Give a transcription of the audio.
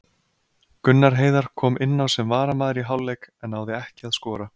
Gunnar Heiðar kom inná sem varamaður í hálfleik en náði ekki að skora.